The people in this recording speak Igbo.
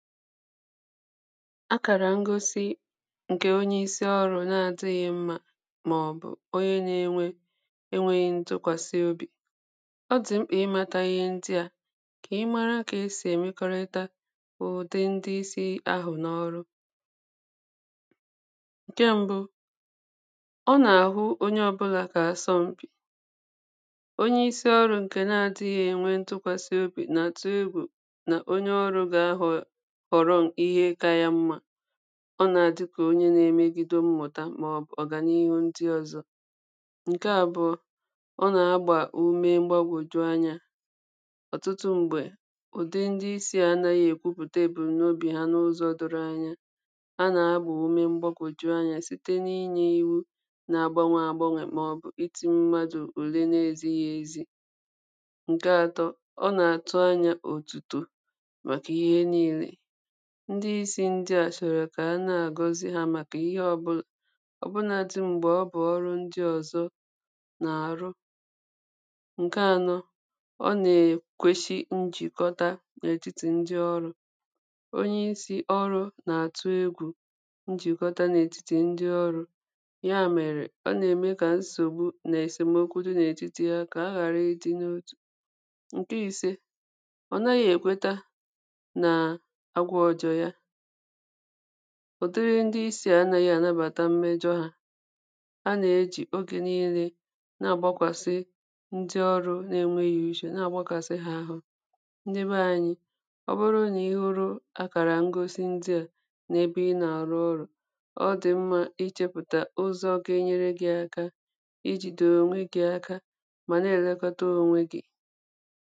Akàrà ngosi ǹkè onye isi ọrụ̄ na adị̄ghị̄ mmā màọ̀bụ̀ onye na-enwe enwēghị ntụkwàsị obì. ọ dị̀ mkpà ịmāta ihe ndị à kà ị mara kà esì èmekọrita ụ̀dị ndị isī ahụ̀ n’ọrụ. ǹke mbụ ọ nà-àhụ onye ọbụlà kà asọm̀pì. onye isi ọrụ̄ ǹkè na adị̄ghị̄ ènwe ntụkwàsị obì nà-àtụ egwù nà onye ọrụ̄ gà-ahọ̀ họ̀rọ ihe ka ya mmā. ọ nà-àdịkà onye na-emegide mmụ̀ta màọ̀bụ̀ ọ̀gànihu ndi ọzọ. ǹke àbụ̀ọ ọ nà-agbà ume mgbagwòju anyā. ọ̀tụtụ m̀gbè ụ̀dị ndị isī à anāghị èkwupùte èbùmnobì ha n’ụzọ̄ doro anya. ha nà-agbà ume mgbagwòju anyā site na inyē iwu na agbanwè àgbanwè màọ̀bụ̀ itī mmadụ̀ ùle na ezīghị ezi. ǹke atọ, ọ nà-àtụ anya òtùtò màkà ihe niīle. ndi isī ndị à shọ̀rọ̀ kà ana-àgọzi hā màkà ihe ọbụlà ọ̀bụnadị m̀gbè ọ bụ̀ ọrụ ndị ọ̀zọ nà-àrụ. ǹke anọ ọ nà-èkweshi njìkọta n’ètitì ndị ọrụ̄. onye isi ọrụ nà-àtụ egwù njìkọta n’ètitì ndị ọrụ̄, yā mèrè ọ nà-ème kà nsògbu nà èsèmokwu dị n’ètitì ha kà ha ghàra ịdị̄ n’otù. ǹke ise ọ naghị̄ èkweta nà agwa ọ̀jọ̀ ya ụ̀dịrị ndị isī à anāghị ànabàta mmejọ hā. ha nà-ejì ogè niīle na-àgbakwàsi ndị ọrụ̄ na ènweghị̄ ushè na àgbakàsi ha ahụ. ndị be anyị ọ bụrụ nà ị hụrụ akàrà ngosi ndị à n’ebe ị nà-àrụ ọrụ̄ ọ dị̀ mmā ichēpụ̀tà ụzọ̄ ga-enyere gị̄ ẹka ijìdè ònwe gị̄ aka mà na-èlekọta ọnwe gị̄.